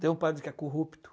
Tem um padre que é corrupto.